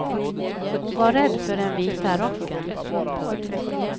Hon var rädd för den vita rocken. punkt